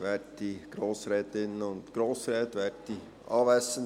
Ich erteile Regierungsrat Müller das Wort.